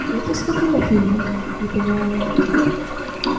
это из какого фильма не поняла я